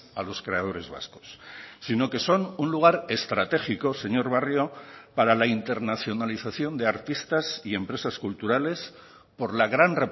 a los creadores vascos sino que son un lugar estratégico señor barrio para la internacionalización de artistas y empresas culturales por la gran